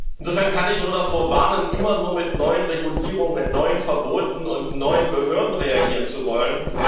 Insofern kann ich nur davor warnen, immer nur mit neuen Regulierungen, neuen Verboten und neuen Behörden reagieren zu wollen.